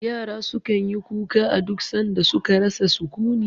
Yara su kan yi kuka a duk san da su ka rasa sukuni